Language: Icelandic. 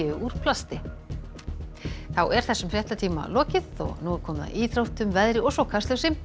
úr plasti þessum fréttatíma er lokið og nú er komið að íþróttum veðri og svo Kastljósi